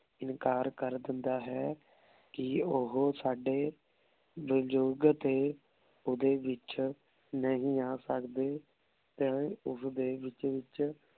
ਇਨਕਾਰ ਕਰ ਦੇਂਦਾ ਹੈ ਕੀ ਓਹੋ ਸਾਡੇ ਵਿਜੋਗ ਤੇ ਓਡੀ ਵਿਚ ਨਹੀ ਆ ਸਕਦੇ ਤੇ ਓਸ ਦੇ ਰੂਚ ਵਿਚ